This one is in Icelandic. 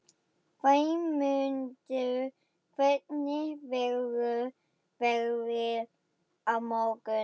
Vémundur, hvernig verður veðrið á morgun?